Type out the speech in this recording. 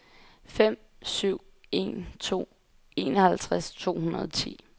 fem syv en to enoghalvtreds to hundrede og ti